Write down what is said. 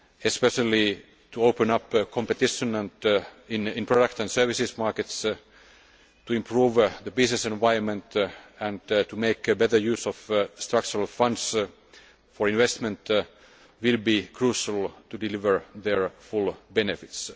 especially to open up competition in product and services markets, to improve the business environment and to make better use of Structural Funds for investment, will be crucial in delivering their full benefits.